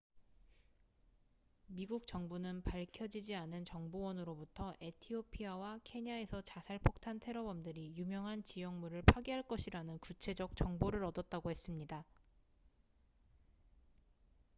"미국 정부는 밝혀지지 않은 정보원으로부터 에티오피아와 케냐에서 자살 폭탄 테러범들이 "유명한 지형물""을 파괴할 것이라는 구체적 정보를 얻었다고 했습니다.